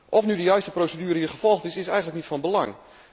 Of hier nu de juiste procedure gevolgd is, is eigenlijk niet van belang.